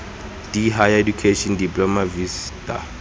d higher education diploma vista